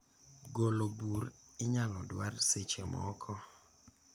golo bur inyalo dwar seche moko